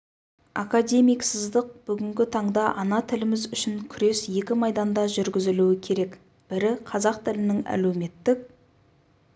академик сыздық бүгінгі таңда ана тіліміз үшін күрес екі майданда жүргізілуі керек бірі қазақ тілінің әлеуметтік